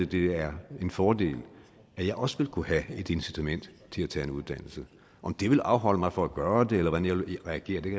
det er en fordel at jeg også ville kunne have et incitament til at tage en uddannelse om det ville afholde mig fra at gøre det eller hvordan jeg ville reagere kan